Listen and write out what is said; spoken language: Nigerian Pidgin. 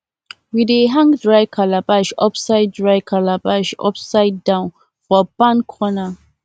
we dey hang dry calabash upside dry calabash upside down for barn corner